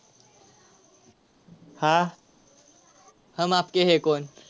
yes हो लागणार.